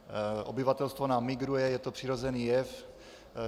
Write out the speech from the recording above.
Obyvatelstvo nám migruje, je to přirozený jev.